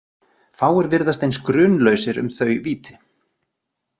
Fáir virðast eins grunlausir um þau víti.